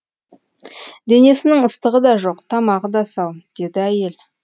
денесінің ыстығы да жоқ тамағы да сау деді әйел